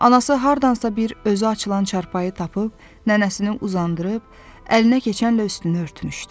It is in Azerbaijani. Anası hardansa bir özü açılan çarpayı tapıb, nənəsini uzandırıb, əlinə keçənlə üstünü örtmüşdü.